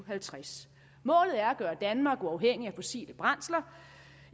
og halvtreds målet er at gøre danmark uafhængigt af fossile brændsler